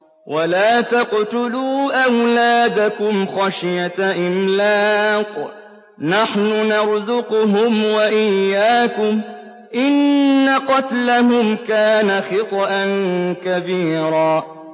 وَلَا تَقْتُلُوا أَوْلَادَكُمْ خَشْيَةَ إِمْلَاقٍ ۖ نَّحْنُ نَرْزُقُهُمْ وَإِيَّاكُمْ ۚ إِنَّ قَتْلَهُمْ كَانَ خِطْئًا كَبِيرًا